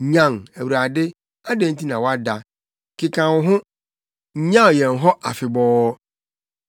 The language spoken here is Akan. Nyan, Awurade! Adɛn nti na woada? Keka wo ho! Nnyaw yɛn hɔ afebɔɔ.